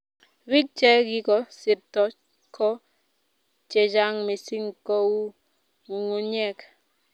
bik che ko sirto ko chechang mising ko u ngungunyek